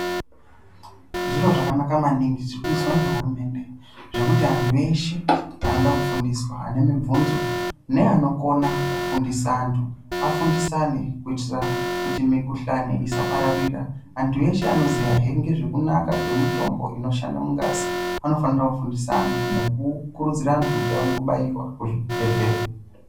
Zviro zvakanaka maningi zvirikuizwa ngehurumende, zvekuti antu eshe anoda kufundiswa, ane mibvunzo, neanokona kufundisa antu afundisane kuitira kuti mikhuhlani isapararira. Antu eshe anoziyahe ngezvekunaka kwemitombo inoshanda mungazi, vanofanira kufundisa antu, nekukurudzira antu kuti auye kubaiwa muzvibhedhlera.